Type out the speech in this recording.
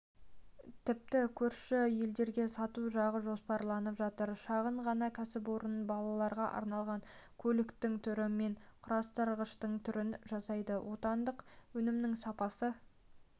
тіпті көрші елдерге сату жағы жоспарланып жатыр шағын ғана кәсіпорын балаларға арналған көліктің түрі мен құрастырғыштың түрін жасайды отандық өнімнің сапасы